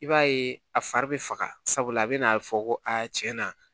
I b'a ye a fari bɛ faga sabula a bɛ n'a fɔ ko aa tiɲɛ na